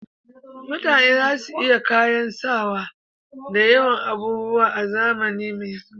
Mutane za su iya kayan sawa da yawan abubuwa a zamani mai zuwa